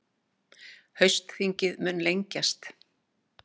Haustþingið mun lengjast